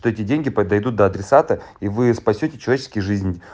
то эти деньги по дойдут до адресата и вы спасёте человеческие жизни